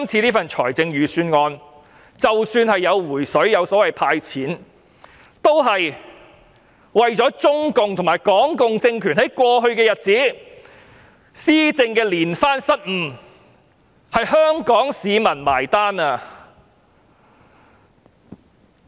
這份預算案向市民"回水"，即"派錢"，也是因為中共和港共政權在過去一段日子施政連番失誤，其實是由香港市民結帳。